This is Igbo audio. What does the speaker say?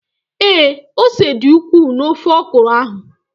Ee, ose dị ukwuu na ofe ọkụrụ ahụ